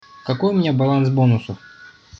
какой у меня баланс бонусов